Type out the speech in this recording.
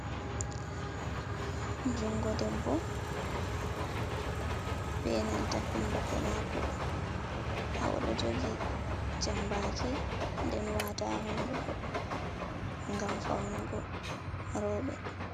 Jungo debbo be nanta hundugo mako ha oɗo jogi jambaki den wata ha hundugo ngam faunugo roɓɓe.